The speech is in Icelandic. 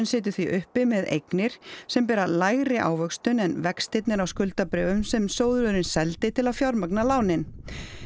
situr því uppi með eignir sem bera lægri ávöxtun en vextirnir á skuldabréfunum sem sjóðurinn seldi til að fjármagna lánin